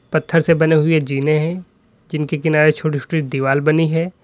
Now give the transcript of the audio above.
पत्थर से बने हुए जीने हैं जिनके किनारे छोटे छोटे दीवाल बनी है।